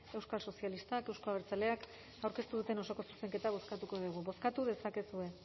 euskal sozialistak euzko abertzaleak aurkeztu duten osoko zuzenketa bozkatuko dugu bozkatu dezakezue